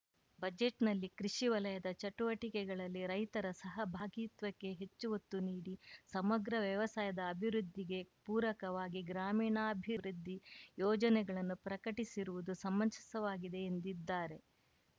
ಬಜೆಟ್‌ನಲ್ಲಿ ಕೃಷಿ ವಲಯದ ಚಟುವಟಿಕೆಗಳಲ್ಲಿ ರೈತರ ಸಹಭಾಗಿತ್ವಕ್ಕೆ ಹೆಚ್ಚು ಒತ್ತು ನೀಡಿ ಸಮಗ್ರ ವ್ಯವಸಾಯದ ಅಭಿವೃದ್ಧಿಗೆ ಪೂರಕವಾಗಿ ಗ್ರಾಮೀಣಾಭಿವೃದ್ಧಿ ಯೋಜನೆಗಳನ್ನು ಪ್ರಕಟಿಸಿರುವುದು ಸಮಂಜಸವಾಗಿದೆ ಎಂದಿದ್ದಾರೆ